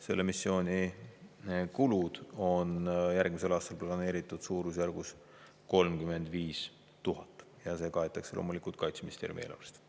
Selle missiooni kulud on järgmisel aastal planeeritud suurusjärgus 35 000 eurot ja see kaetakse loomulikult Kaitseministeeriumi eelarvest.